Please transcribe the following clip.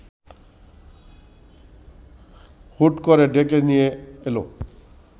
হুট করে ডেকে নিয়ে এলো